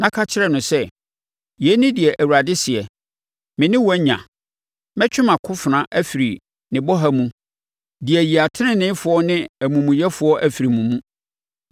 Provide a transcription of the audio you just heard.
na ka kyerɛ no sɛ: ‘Yei ne deɛ Awurade seɛ: Me ne wo anya. Mɛtwe mʼakofena afiri ne bɔha mu de ayi ateneneefoɔ ne amumuyɛfoɔ afiri mo mu.